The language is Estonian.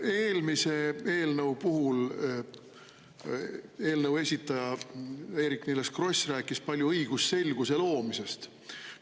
Eelmise eelnõu puhul eelnõu esitleja Eerik-Niiles Kross rääkis palju õigusselguse loomisest.